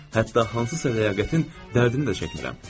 Hətta hansısa ləyaqətin dərdini də çəkmirəm.